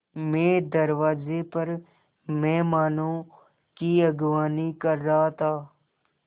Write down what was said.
मैं दरवाज़े पर मेहमानों की अगवानी कर रहा था